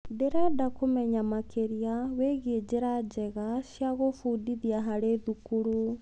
Ndĩrenda kũmenya makĩria wĩgie njĩra njega cia gũbundithia harĩ thukuru.